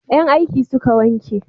Yan aiki suka wanke